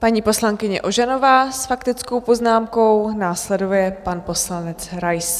Paní poslankyně Ožanová s faktickou poznámkou, následuje pan poslanec Rais.